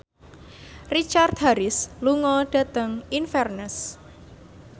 Richard Harris lunga dhateng Inverness